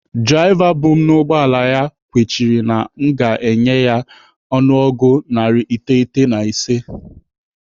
Draiva bụ m n'ụgbọala ya kwechiri na aga m akwụ ya ọnụego narị iteghete na ise